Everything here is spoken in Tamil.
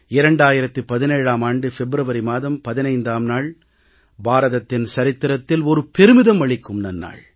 2017ஆம் ஆண்டு பிப்ரவரி மாதம் 15ஆம் நாள் பாரதத்தின் சரித்திரத்தில் ஒரு பெருமிதம் அளிக்கும் நன்னாள்